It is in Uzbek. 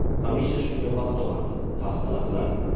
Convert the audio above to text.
Hamisha shunga vaqt topardi, hafsala qilardi.